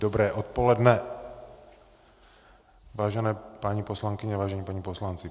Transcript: Dobré odpoledne, vážení paní poslankyně, vážení páni poslanci.